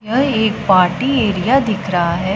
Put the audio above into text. यह एक party area दिख रहा है।